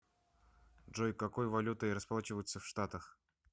джой какой валютой расплачиваются в штатах